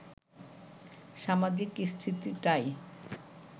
সামাজিক স্থিতিটাই